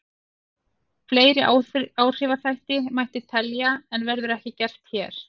Fleiri áhrifaþætti mætti telja en verður ekki gert hér.